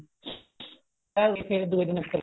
ਐਵੇਂ ਹੀ ਫੇਰ ਦੂਏ ਦਿਨ ਫੇਰ